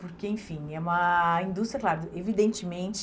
Porque, enfim, é uma indústria, claro, evidentemente...